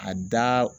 A da